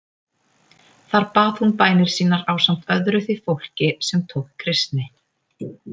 Þar bað hún bænir sínar ásamt öðru því fólki sem tók kristni.